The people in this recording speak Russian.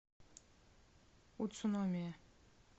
уцуномия